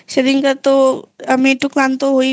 সেদিন কার তো আমি একটু ক্লান্ত হয়েই